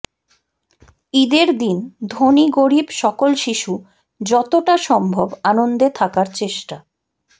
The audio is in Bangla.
ঈদের দিন ধনী গরীব সকল শিশু যতটা সম্ভব আনন্দে থাকার চেষ্টা